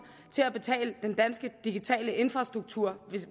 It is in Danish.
til at betale den dansk digitale infrastruktur